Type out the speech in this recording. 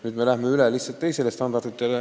Nüüd me läheme lihtsalt üle teistele standarditele.